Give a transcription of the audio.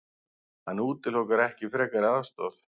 Hann útilokar ekki frekari aðstoð.